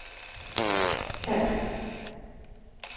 kald